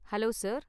Hello sir!